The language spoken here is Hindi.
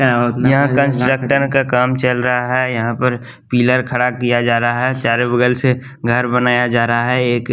यहाँ कंस्ट्रक्शन काम चल रहा है यहाँ पर पिलर खड़ा किया जा रहा है चारों बगल से घर बनाया जा रहा है एक --